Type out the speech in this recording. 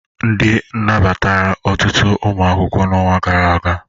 Ndị nabatara ọtụtụ ụmụ akwụkwọ n'ọnwa gara aga?